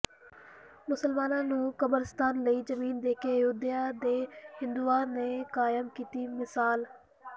ਮੁਸਲਮਾਨਾਂ ਨੂੰ ਕਬਰਿਸਤਾਨ ਲਈ ਜ਼ਮੀਨ ਦੇ ਕੇ ਅਯੁੱਧਿਆ ਦੇ ਹਿੰਦੂਆਂ ਨੇ ਕਾਇਮ ਕੀਤੀ ਮਿਸਾਲ